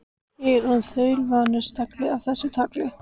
Ég er orðinn þaulvanur stagli af þessu tagi.